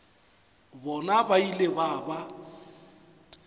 bona ba ile ba ba